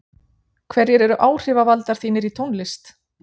hverjir eru áhrifavaldar þínir í tónlist?